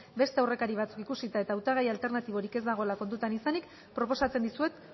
beste aurrekari batzuk ikusita eta hautagai alternatiborik ez dagoela kontutan izanik proposatzen dizuet